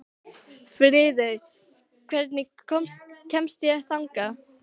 Friðey, hvernig kemst ég þangað?